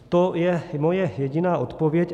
To je moje jediná odpověď.